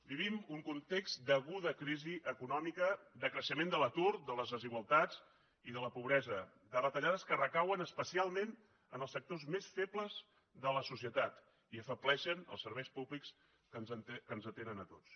vivim un context d’aguda crisi econòmica de creixement de l’atur de les desigualtats i de la pobresa de retallades que recauen especialment en els sectors més febles de la societat i que afebleixen els serveis públics que ens atenen a tots